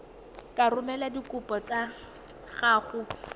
ka romela dikopo tsa gago